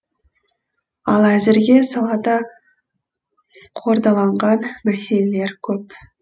ал әзірге салада қордаланған мәселелер көп